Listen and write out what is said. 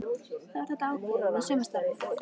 Þá er þetta ákveðið með sumarstarfið.